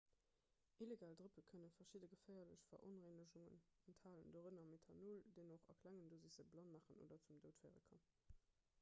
illegal drëppe kënne verschidde geféierlech veronrengegungen enthalen dorënner methanol deen och a klengen dosissen blann maachen oder zum doud féiere kann